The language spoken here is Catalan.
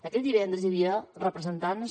aquell divendres hi havia representants